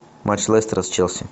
матч лестера с челси